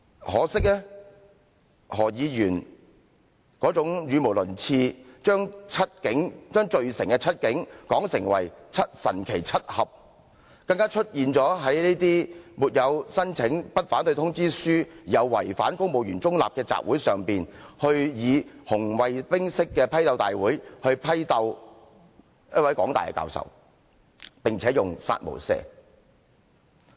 可惜，何議員這種語無倫次，將罪成的七警，說成"神奇七俠"，更加出現在沒有申請不反對通知書，又違反公務員中立的集會上，以紅衞兵式的批鬥大會，批鬥一位港大教授，並且用"殺無赦"字眼。